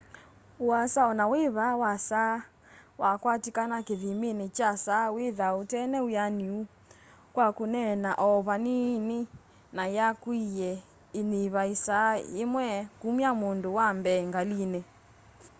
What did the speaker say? uasa onawĩva wa saa wakwatĩkana kĩthĩmĩnĩ kya saa wĩthaa ũtena wĩanĩũ kwa kũneena o vanĩnĩ na yakũĩe ĩĩnyĩva ĩsaa yĩmwe kũmya mũndũ wa mbee ngalĩnĩ